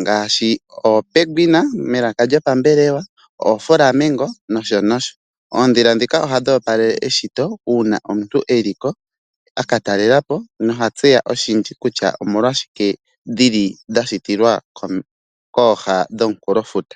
ngaashi oopenguina pelaka lyopambelwa oo flamigo nosho nosho. Oondhila ndhika ohadhi opalele eshito uuna omuntu eli ko aka talela po noha tseya oshindji kutya omolwaashike dhili dha shitilwa kooha dhomukulofuta